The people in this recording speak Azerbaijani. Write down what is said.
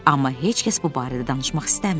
Amma heç kəs bu barədə danışmaq istəmirdi.